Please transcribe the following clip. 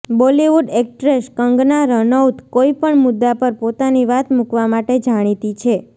Bollywood actress Kangana Ranaut કોઇ પણ મુદ્દા પર પોતાની વાત મુકવા માટે જાણીતી છે